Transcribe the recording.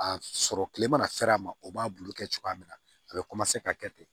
A sɔrɔ kile mana fɛɛrɛ ma o b'a bulu kɛ cogoya min na a be ka kɛ ten